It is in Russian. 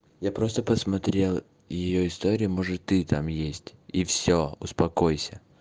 я просто посмотрел её истории может ты там есть и все успокойся